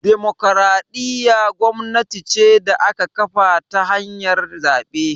Dimokuraɗiyya gwamnati ce da aka kafata ta hanyar zaɓe